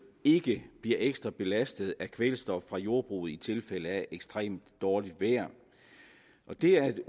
ikke bliver ekstra belastet af kvælstof fra jordbruget i tilfælde af ekstremt dårligt vejr det at